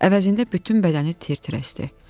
Əvəzində bütün bədəni tir-tir əsdi.